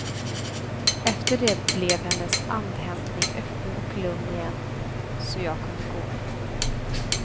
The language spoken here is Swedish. Efter det blev hennes andhämtning öppen och lugn igen, så jag kunde gå.